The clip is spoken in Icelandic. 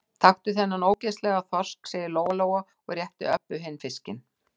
Taktu þennan ógeðslega þorsk, sagði Lóa-Lóa og rétti Öbbu hinni fiskinn.